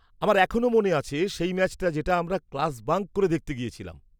-আমার এখনও মনে আছে সেই ম্যাচটা যেটা আমরা ক্লাস বাঙ্ক করে দেখতে গেছিলাম।